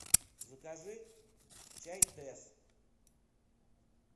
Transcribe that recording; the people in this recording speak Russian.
закажи чай тесс